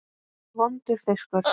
Vondur fiskur.